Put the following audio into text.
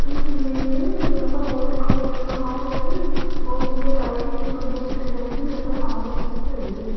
इस इमेज में यहां पर हॉल दिखाई दे रहा है और नीचे टाइल्स में सुंदर सी डिजाइन भी नजर आ रही है।